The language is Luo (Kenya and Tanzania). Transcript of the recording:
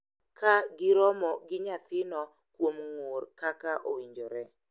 Ka giromo gi nyathino kuom ng’ur kaka owinjore.